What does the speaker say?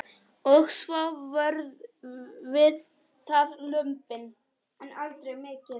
Og svo voru það lömbin.